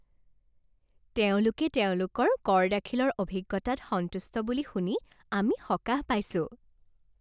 তেওঁলোকে তেওঁলোকৰ কৰ দাখিলৰ অভিজ্ঞতাত সন্তুষ্ট বুলি শুনি আমি সকাহ পাইছোঁ।